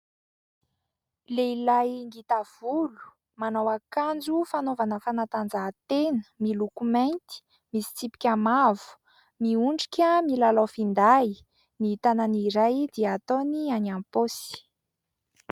Lehilahy ngita volo manao akanjo fanaovana fanatanjahantena, miloko mainty misy tsipika mavo miondrika milalao finday, ny tanany iray dia ataony any am-paosy.